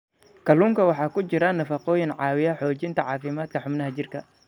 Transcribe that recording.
Kalluunka waxaa ku jira nafaqooyin caawiya xoojinta caafimaadka xubnaha jirka.